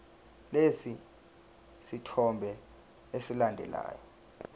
lesi sithombe esilandelayo